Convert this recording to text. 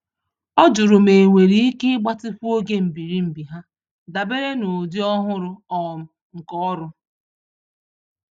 Ọ jụrụ ma enwere íke igbatịkwu ógè mbiri-mbi ha, dabere n'ụdị ọhụrụ um nke ọrụ